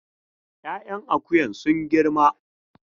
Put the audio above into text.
Ya'yan akuyan sun girma